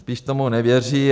Spíš tomu nevěří.